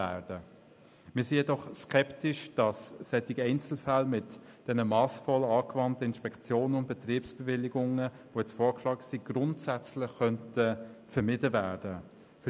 Wir sind jedoch skeptisch, ob solche Einzelfälle mit diesen massvoll angewandten Inspektionen und Betriebsbewilligungen, so wie sie vorgeschlagen worden sind, grundsätzlich vermieden werden können.